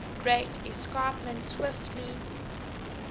great escarpment swiftly